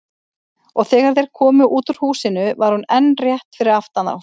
Og þegar þeir komu út úr húsinu var hún enn rétt fyrir aftan þá.